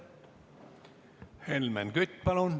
Helmen Kütt, palun!